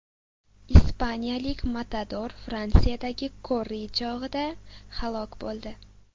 Ispaniyalik matador Fransiyadagi korrida chog‘ida halok bo‘ldi.